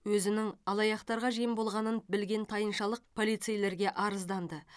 өзінің алаяқтарға жем болғанын білген тайыншалық полицейлерге арызданды